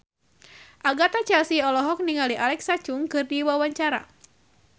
Agatha Chelsea olohok ningali Alexa Chung keur diwawancara